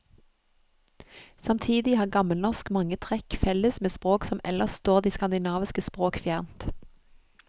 Samtidig har gammelnorsk mange trekk felles med språk som ellers står de skandinaviske språk fjernt.